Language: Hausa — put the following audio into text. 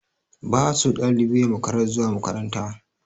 Ba a so ɗalibi yai makarar zuwa makaranta.